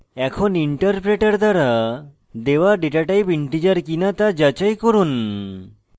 এখন interpreter দ্বারা দেওয়া ডেটাটাইপ integer কিনা তা যাচাই করুন